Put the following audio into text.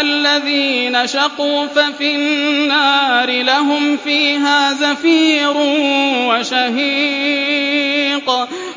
الَّذِينَ شَقُوا فَفِي النَّارِ لَهُمْ فِيهَا زَفِيرٌ وَشَهِيقٌ